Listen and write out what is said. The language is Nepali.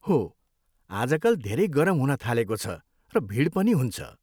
हो, आजकल धेरै गरम हुन थालेको छ र भिड पनि हुन्छ।